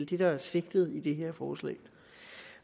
det der er sigtet med det her forslag i